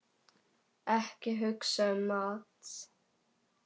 Ekki hugsa um mat!